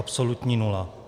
Absolutní nula.